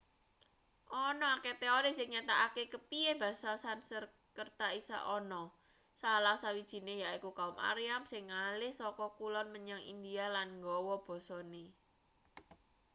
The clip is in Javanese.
ana akeh teori sing nyatakake kepiye basa sanskerta iso ana salah sawijine yaiku kaum aryan sing ngalih saka kulon menyang india lan nggawa basane